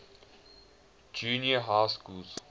junior high schools